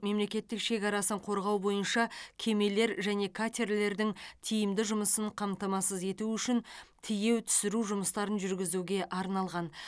мемлекеттік шекарасын қорғау бойынша кемелер және катерлердің тиімді жұмысын қамтамасыз ету үшін тиеу түсіру жұмыстарын жүргізуге арналған